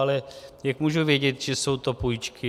Ale jak mohu vědět, že jsou to půjčky?